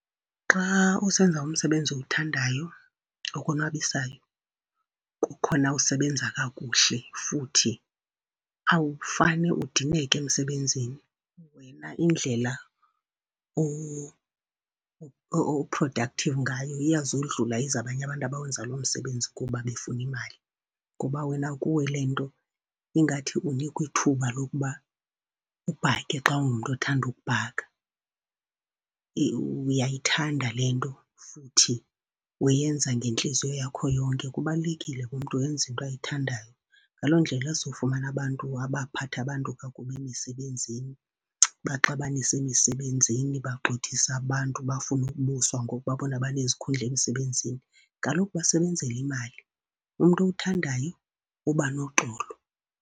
Xa usenza umsebenzi owuthandayo, okonwabisayo, kukhona usebenza kakuhle. Futhi awufane udineke emsebenzini. Wena indlela o-productive ngayo iyazondlula ezabanye abantu abawenza lo msebenzi kuba befuna imali ngoba wena kuwe le nto ingathi unikwa ithuba lokuba ubhakhe xa ungumntu othanda ukubhaka. Uyayithanda le nto futhi uyenza ngentliziyo yakho yonke. Kubalulekile umntu enze into ayithandayo, ngaloo ndlela asizofumana abantu abaphatha abantu kakubi emisebenzini, baxabanise emisebenzini, bagxothise abantu, bafune ukubuswa ngokuba bona banezikhundla emisebenzini. Kaloku basebenzela imali. Umntu owuthandayo, uba noxolo.